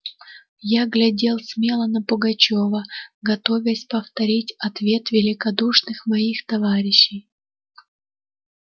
я глядел смело на пугачёва готовясь повторить ответ великодушных моих товарищей